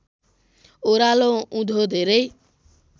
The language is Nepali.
ओरालो उँधो धेरै